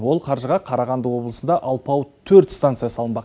ол қаржыға қарағанды облысында алпауыт төрт станция салынбақ